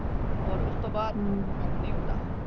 ਓਰ ਉਸਤੋਂ ਨਹੀਂ ਹੁੰਦਾ।